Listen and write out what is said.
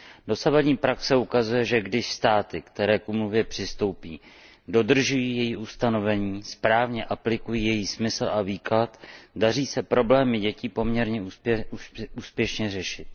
Dosavadní praxe ukazuje, že když státy, které k úmluvě přistoupí, dodržují její ustanovení, správně aplikují její smysl a výklad, daří se problémy dětí poměrně úspěšně řešit.